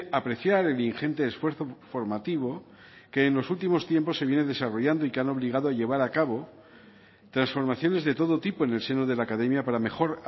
apreciar el ingente esfuerzo formativo que en los últimos tiempos se viene desarrollando y que han obligado llevar a cabo transformaciones de todo tipo en el seno de la academia para mejor